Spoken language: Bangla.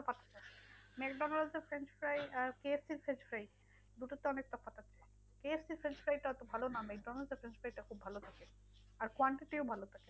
তফাৎ ম্যাকডোনালসের french fry আর কে এফ সির french fry দুটোতে অনেক তফাৎ আছে এক এফ সির french fry টা অত ভালো নয়, ম্যাকডোনালসের french fry টা খুব ভালো খেতে আর quantity ও ভালো।